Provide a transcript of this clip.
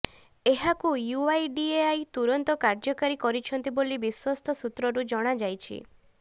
ଏହାକୁ ୟୁଆଇଡିଏଆଇ ତୁରନ୍ତ କାର୍ଯ୍ୟକାରୀ କରିଛନ୍ତି ବୋଲି ବିଶ୍ୱସ୍ତ ସୂତ୍ରରୁ ଜଣାଯାଇଛି